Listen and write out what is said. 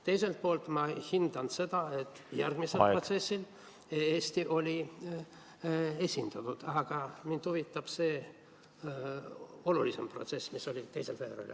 Teiselt poolt ma hindan seda, et järgmisel protsessil oli Eesti esindatud, aga mind huvitab see olulisem protsess, mis oli 2. veebruaril.